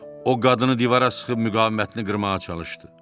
O qadını divara sıxıb müqavimətini qırmağa çalışdı.